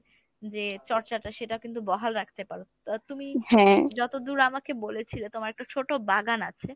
যে চর্চাটা সেটা কিন্তু বহাল রাখতে পারো। আহ তুমি যতদূর আমাকে বলেছিলে তোমার একটা ছোট বাগান আছে